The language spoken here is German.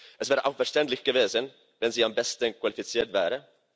Es wäre auch verständlich gewesen, wenn sie am besten qualifiziert wäre.